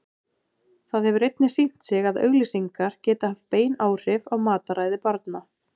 Það hefur einnig sýnt sig að auglýsingar geta haft bein áhrif á mataræði barna.